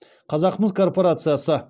қазақмыс корпорациясы